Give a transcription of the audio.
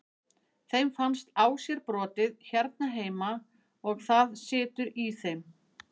Þeim fannst á sér brotið hérna heima og það situr í þeim.